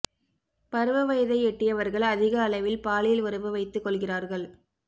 பருவ வயதை எட்டியவர்கள் அதிக அளவில் பாலியல் உறவு வைத்துக் கொள்கிறார்கள்